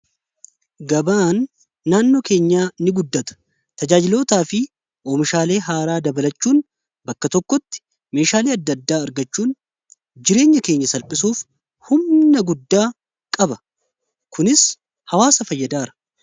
Gabaan naannoo keenya ni guddata tajaajilootaa fi oomishaalee haaraa dabalachuun bakka tokkotti meeshaalee adda-addaa argachuun. Jireenya keenya salphisuuf humna guddaa qaba kunis hawaasa fayyadaara.